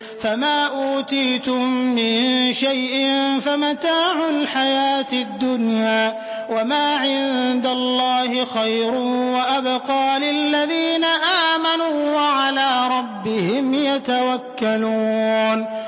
فَمَا أُوتِيتُم مِّن شَيْءٍ فَمَتَاعُ الْحَيَاةِ الدُّنْيَا ۖ وَمَا عِندَ اللَّهِ خَيْرٌ وَأَبْقَىٰ لِلَّذِينَ آمَنُوا وَعَلَىٰ رَبِّهِمْ يَتَوَكَّلُونَ